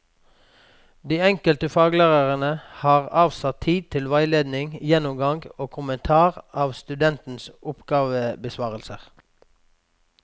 De enkelte faglærerne har avsatt tid til veiledning, gjennomgang og kommentar av studentenes oppgavebesvarelser.